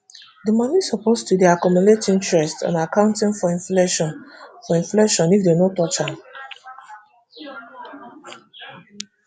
di money suppose to dey accumulate interest and accounting for inflation for inflation if dem no touch am